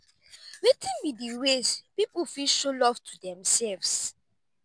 wetin be di ways people fit show love to demselves?